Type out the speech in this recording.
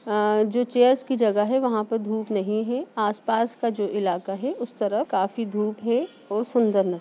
अ जो चेयर्स की जगह है वहां पे धूप नहीं है आस-पास का जो इलाका है उस तरफ़ काफी धूप है और सुंदर न --